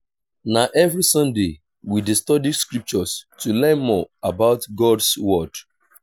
na every sunday we dey study scriptures to learn more about god’s word.